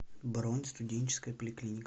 бронь студенческая поликлиника